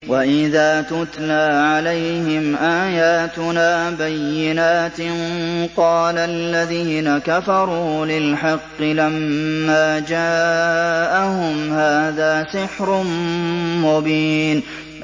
وَإِذَا تُتْلَىٰ عَلَيْهِمْ آيَاتُنَا بَيِّنَاتٍ قَالَ الَّذِينَ كَفَرُوا لِلْحَقِّ لَمَّا جَاءَهُمْ هَٰذَا سِحْرٌ مُّبِينٌ